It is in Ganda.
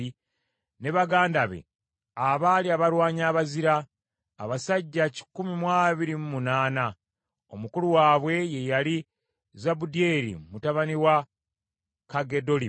ne baganda be, abaali abalwanyi abazira; abasajja kikumi mu abiri mu munaana (128). Omukulu waabwe ye yali Zabudyeri mutabani wa Kaggedolimu.